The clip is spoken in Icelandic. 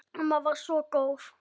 Amma var svo góð.